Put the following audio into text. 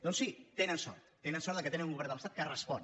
doncs sí tenen sort tenen sort que tenen un govern de l’estat que respon